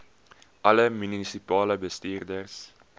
alle munisipale bestuurders